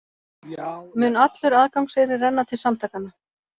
Mun allur aðgangseyrir renna til samtakanna